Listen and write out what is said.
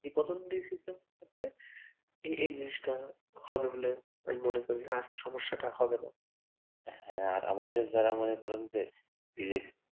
এই পতনগুলির সুবিধা থাকলে এই জিনিসটা হবে বলে আমি মনে করি আর সমস্যাটা হবেনা, হ্যা আর আমাদের যারা মনে করেন যে বেশ